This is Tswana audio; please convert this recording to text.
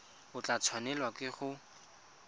o tla tshwanelwa ke go